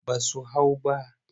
Ba su hau ba.